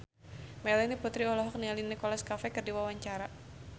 Melanie Putri olohok ningali Nicholas Cafe keur diwawancara